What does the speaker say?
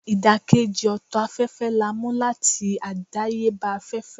idakeji oto afefe la mu lati adayeba afefe.